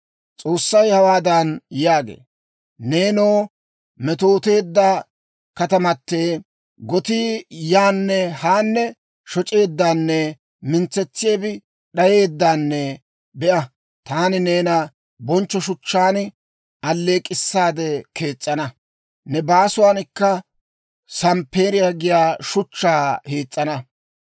S'oossay hawaadan yaagee; «Neenoo, metooteedda katamatee! Gotii yaanne haanne shoc'eeddanne, mintsetsiyaabi d'ayeeddanne, be'a, taani neena bonchcho shuchchaan alleek'k'issaade kees's'ana; ne baasuwankka samppeeriyaa giyaa shuchchaa hiis's'ana.